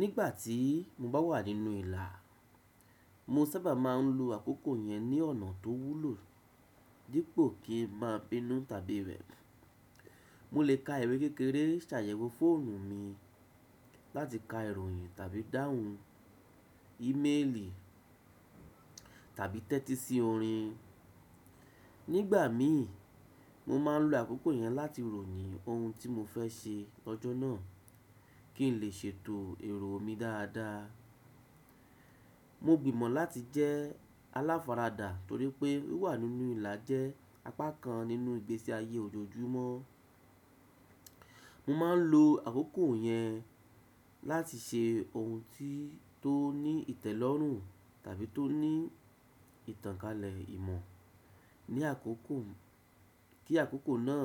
Nígbà tí mo bá wà nínú ìlà, mo sábà máa ń lo àkókò yẹn ní ọ̀nà tó wúlò dípò kí n má bínú tàbí rẹ̀. Mo lè ka ìwé kékeré, ṣàyẹ̀wò fóònù mi láti ka ìròyìn tàbí dáhùn íméèlì tàbí tẹ́tí sí orin. Nígbà mi, mo máa ń lo àkókò yẹn láti ròní ohun tí mo fẹ́ ṣe lọ́jọ́ náà kí n lè ṣètò èrò mi dáadáa. Mo gbìmọ̀ láti jẹ́ aláfara dà torí pé wíwà nínú ìlà jẹ́ apá kan nínú ìgbésí ayé ojoojúmọ́. Mo ma ń lo àkókò yẹn láti ṣe ohun tí tó ní ìtẹ́lọ́rùn tàbí tó ní ìtànkálẹ̀ ìmọ̀ kí àkókò náà